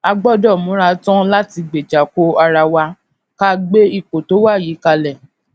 a gbódò múra tán láti gbéjà ko ara wa ká gbé ipò tó wà yìí kalè